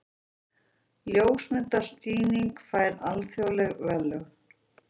Ljósmyndasýning fær alþjóðleg verðlaun